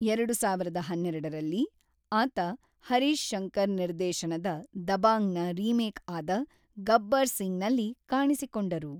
ಎರಡು ಸಾವಿರದ ಹನ್ನೆರಡರಲ್ಲಿ, ಆತ ಹರೀಶ್ ಶಂಕರ್ ನಿರ್ದೇಶನದ ದಬಾಂಗ್‌ನ ರೀಮೇಕ್ಆದ ಗಬ್ಬರ್ ಸಿಂಗ್‌ನಲ್ಲಿ ಕಾಣಿಸಿಕೊಂಡರು.